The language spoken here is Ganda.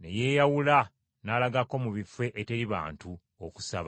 ne yeeyawula n’alagako mu bifo eteri bantu, okusaba.